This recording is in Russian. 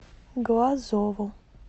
глазову